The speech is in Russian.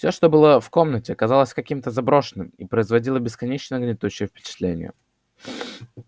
всё что было в комнате казалось каким-то заброшенным и производило бесконечно гнетущее впечатление